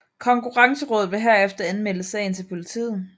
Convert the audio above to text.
Konkurrencerådet vil herefter anmelde sagen til politiet